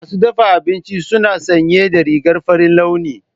Masu dafa abinci suna sanye da rigar farin launi.